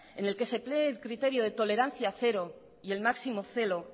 en el que se cree el criterio de tolerancia cero y el máximo celo